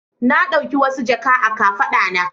Na ɗauki wasu jaka a kafaɗa na.